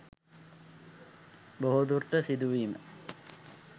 බොහෝ දුරට සිදුවීම